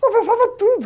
Confessava tudo.